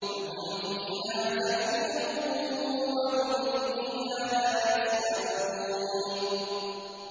لَهُمْ فِيهَا زَفِيرٌ وَهُمْ فِيهَا لَا يَسْمَعُونَ